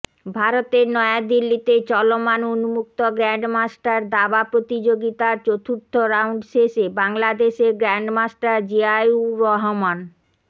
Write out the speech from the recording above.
ভারতের নয়া দিল্লিতে চলমান উন্মুক্ত গ্র্যান্ডমাস্টার দাবা প্রতিযোগিতার চতুর্থ রাউন্ড শেষে বাংলাদেশের গ্র্যান্ডমাস্টার জিয়াউর রহমান